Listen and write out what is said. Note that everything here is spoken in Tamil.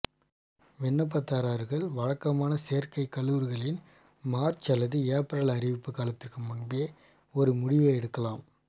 விண்ணப்பதாரர்கள் வழக்கமான சேர்க்கை கல்லூரிகளின் மார்ச் அல்லது ஏப்ரல் அறிவிப்பு காலத்திற்கு முன்பே ஒரு முடிவை எடுக்கலாம்